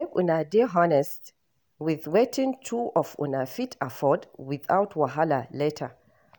Make una dey honest with wetin two of una fit afford without wahala later